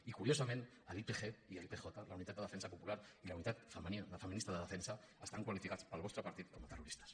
i curiosament l’ypg i l’ypj les unitats de defensa popular i les unitats femenines de defensa estan qualificats pel vostre partit com a terroristes